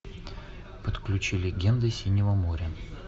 подключи легенды синего моря